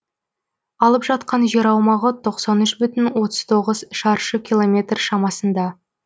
алып жатқан жер аумағы тоқсан үш бүтін отыз тоғыз шаршы километр шамасында